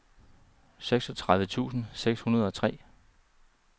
syvogtredive tusind seks hundrede og tre